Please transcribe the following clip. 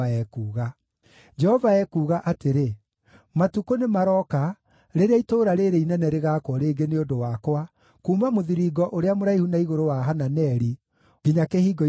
Jehova ekuuga atĩrĩ, “Matukũ nĩmarooka rĩrĩa itũũra rĩĩrĩ inene rĩgaakwo rĩngĩ nĩ ũndũ wakwa, kuuma Mũthiringo ũrĩa Mũraihu na igũrũ wa Hananeli nginya Kĩhingo-inĩ gĩa Koine.